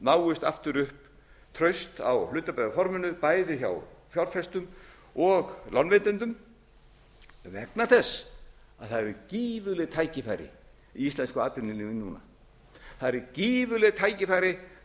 náist aftur upp traust á hlutabréfaforminu bæði hjá fjárfestum og lánveitendum vegna þess að það eru gífurleg tækifæri í íslensku atvinnulífi núna það eru gífurleg tækifæri til